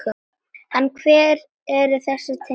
En hver eru þessi tengsl?